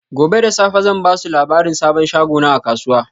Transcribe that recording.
Gobe da safe zan ba su labarin sabon shagona a kasuwa.